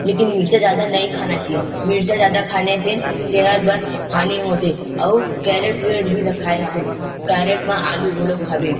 लेकिन मिर्चा ज्यादा नइ खाना चाहिए मिर्चा ज्यादा खाने से सेहत बर हानि होथे अऊ कैरेट वेड भी रखये हावे कैरेट में आलू घलोक हावे।